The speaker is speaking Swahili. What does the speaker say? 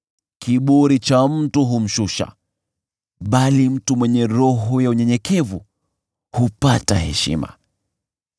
Kiburi cha mtu humshusha, bali mtu mwenye roho ya unyenyekevu hupata heshima.